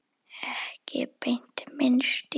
Ekki beint minn stíll.